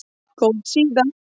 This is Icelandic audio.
Góð síða